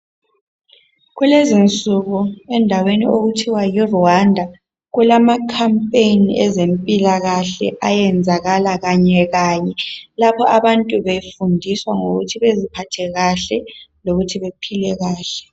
Kulezinsuku endaweni okuthiwa yiRwanda kulamaCompaign ezempilakahle ayenzakala kanyekanye lapho bantu befundiswa ngokuthi beziphathe kahle lokuthi bephile kahle.